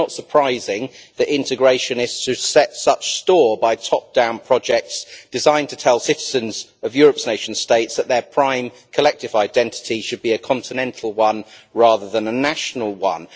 So it is not surprising that integrationists should set such store by top-down projects designed to tell the citizens of Europe's nation states that their prime collective identity should be a continental one rather than a national one.